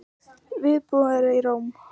Viðbúnaður í Róm